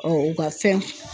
Ɔ u ka fɛn